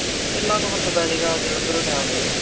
ਕਿੰਨਾ ਕ ਫਰਕ ਪੈਜੇਗਾ, ਜਲੰਧਰੋਂ ਲੈ ਆਉਂਨੇ ਆ।